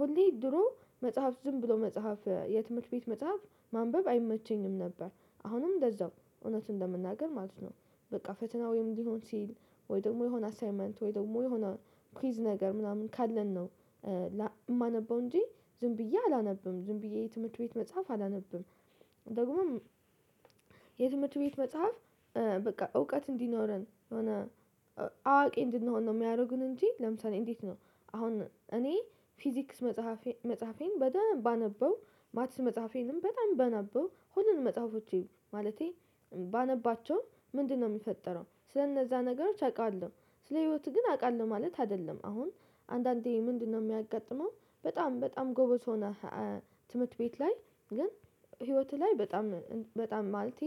ሁሌ ድሮ መጽሐፍ ዝም ብሎ መጽሐፍ የትምህርት ቤት መጽሐፍ ማንበብ አይመቸኝም ነበር አሁንም እንደዛው እውነት ለመናገር ማለት ነው። በቃ ፈተናዊም ወይም ሊሆን ሲል ወይ ደግሞ የሆነ አሳይመንት ወይ ደግሞ የሆነ ኩይዝ ነገር ምናምን ካለን ነው። የማነበው እንጂ ዝም ብዬ አላነብም ዝም ብዬ የትምህርት ቤት መጽሐፍ አላነብም። ደግሞም የትምህርት ቤት መጽሐፍ በቃ እውቀት እንዲኖረን የሆነ አዋቂ እንድንሆን ነው የሚያደርጉን እንጂ ለምሳሌ እንዴት ነው? አሁን እኔ ፊዚክስ መጽሐፌን በደንብ ባነበው ማቲስ መጽሐፌንም በጣም ባነበው ሁሉንም መጽሐፎቼ ማለቴ ባነባቸው ምንድነው የሚፈጠረው ስለእነዛ ነገሮች አውቃለሁ። ስለህይወትህ ግን አውቃለሁ ማለት አይደለም። አሁን አንዳንዴ ምንድነው የሚያጋጥመው በጣም በጣም ጎበዝ ሰው ናት። ትምህርት ቤት ላይ ግን ህይወትህ ላይ በጣም በጣም ማለቴ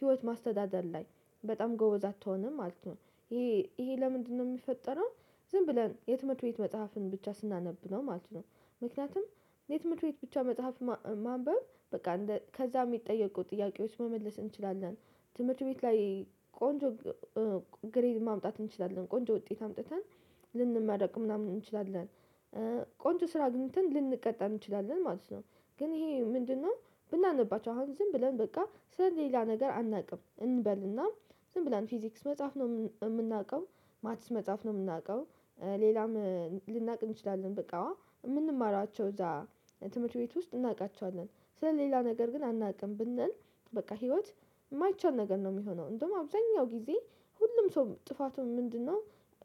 ህይወት ማስተዳደር ላይ በጣም ጎበዝ አትሆንም ማለት ነው። ይሄ ይሄ ለምንድነው የሚፈጠረው? ዝም ብለን የትምህርት ቤት መጽሐፍን ብቻ ስናነብ ነው ማለት ነው። ምክንያቱም የትምህርት ቤት ብቻ መጽሐፍ ማንበብ በቃ ከዛ የሚጠየቁ ጥያቄዎች መመለስ እንችላለን። ትምህርት ቤት ላይ ቆንጆ ግሬድ ማምጣት እንችላለን ቆንጆ ውጤት አምጥተን ልንመረቅ ምናምን እንችላለን። ቆንጆ ስራ አግንተን ልንቀጠር እንችላለን ማለት ነው። ግን ይሄ ምንድነው? ብናነባቸው አሁን ዝም ብለን በቃ ስለሌላ ነገር አናውቅም እንበልና ዝም ብላን ፊዚክስ መጽሐፍ ነው የምናውቀው። ማቲስ መጽሐፍ ነው የምናውቀው። ሌላም ልናውቅ እንችላለን በቃ የምንማሯቸው እዛ ትምህርት ቤት ውስጥ እናውቃቸዋለን። ስለ ሌላ ነገር ግን አናውቅም ብንል። በቃ ህይወት ማይቻል ነገር ነው ሚሆነው እንደውም አብዛኛው ጊዜ ሁሉም ሰው ጥፋቱን ምንድነው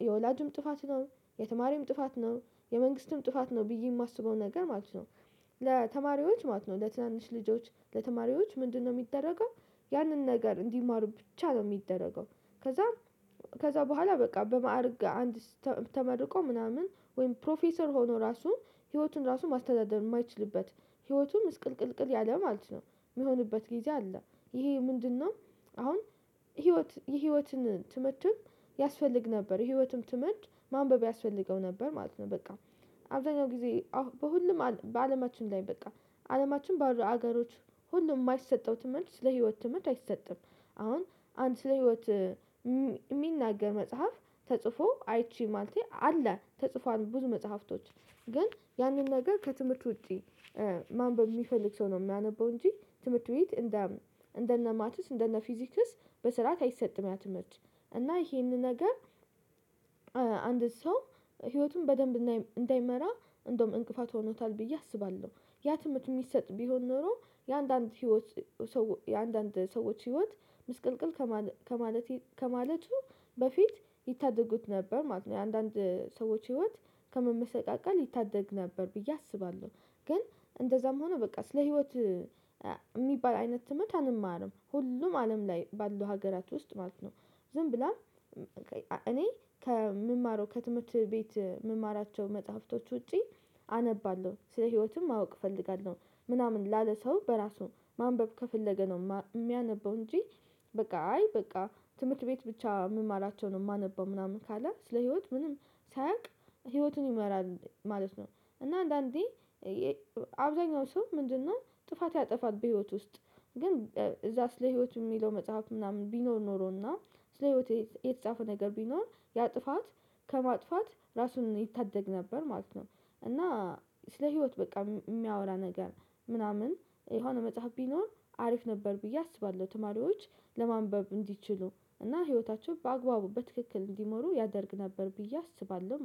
የወላጁም ጥፋት ነው። የተማሪም ጥፋት ነው። የመንግስትም ጥፋት ነው ብዬ የማስበው ነገር ማለት ነው። ለተማሪዎች ማለት ነው ለትናንሽ ልጆች ለተማሪዎች ምንድነው የሚደረገው? ያንን ነገር እንዲማሩ ብቻ ነው የሚደረገው። ከዛ ከዛ በኋላ በቃ በማዕረግ አንድ ተመርቆ ምናምን ወይም ፕሮፌሰር ሆኖ ራሱ ህይወቱን ራሱ ማስተዳደር ማይችልበት ህይወቱም ምስቅልቅልቅል ያለ ማለት ነው የሚሆንበት ጊዜ አለ። ይሄ ምንድነው? አሁን ህይወት የህይወትን ትምህርት ትምህርትም ያስፈልግ ነበር የህይወትም ትምህርት ማንበብ ያስፈልገው ነበር ማለት ነው። በቃ አብዛኛው ጊዜ በሁሉም በአለማችን ላይ በቃ አለማችን ባሉ ሀገሮች ሁሉም የማይሰጠው ትምህርት ለህይወት ትምህርት አይሰጥም። አሁን አንድ ስለ ህይወት የሚናገር መጽሐፍ ተጽፎ አይቺ ማለቴ አለ ተጽፏል ብዙ መጽሐፍቶች ግን ያንን ነገር ከትምህርት ውጪ። ማንበብ የሚፈልግ ሰው ነው የሚያነበው እንጂ ትምህርት ቤት እንደ እንደነ ማትስ እንደነ ፊዚክስ በስራ አይሰጥም ያ ትምህርት። እና ይሄንን ነገር አንድ ሰው ህይወቱን በደንብ እንዳይመራ እንደውም እንቅፋት ሆኖታል ብዬ አስባለሁ። ያ ትምህርት የሚሰጥ ቢሆን ኖሮ የአንዳንድ ህይወት የአንዳንድ ሰዎች ህይወት ምስቅልቅል ከማለት ከማለቱ በፊት ይታደጉት ነበር ማለት ነው። የአንዳንድ ሰዎች ህይወት ከመመሰቃቀል ይታደግ ነበር ብዬ አስባለሁ። ግን እንደዛም ሆኖ በቃ ስለ ህይወትህ ሚባል አይነት ትምህርት አንማርም ሁሉም አለም ላይ ባለው ሀገራት ውስጥ ማለት ነው። ዝም ብለን እኔ ከምማረው ከትምህርት ቤት የምማራቸው መጽሐፍቶች ውጪ አነባለሁ ስለ ህይወትም ማወቅ እፈልጋለሁ። ምናምን ላለ ሰው በራሱ ማንበብ ከፈለገ ነው የሚያነበው እንጂ። በቃ አይ በቃ ትምህርት ቤት ብቻ ሚማራቸው ነው የማነበው ምናምን ካለ ስለ ህይወት ምንም ሳያውቅ ህይወቱን ይመራል ማለት ነው። እና አንዳንዴ አብዛኛው ሰው ምንድነው ጥፋት ያጠፋል በህይወት ውስጥ። ግን እዛስ ለህይወት የሚለው መጽሐፍ ምናምን ቢኖር ኖሮና ስለ ህይወቴ የተጻፈው ነገር ቢኖር ያ ጥፋት ከማጥፋት ራሱን ይታደግ ነበር ማለት ነው። እና ስለ ህይወት በቃ የሚያወራ ነገር ምናምን የሆነ መጽሐፍ ቢኖር አሪፍ ነበር ብዬ አስባለሁ። ተማሪዎች ለማንበብ እንዲችሉ እና ህይወታቸው በአግባቡ በትክክል እንዲመሩ ያደርግ ነበር ብዬ አስባለሁ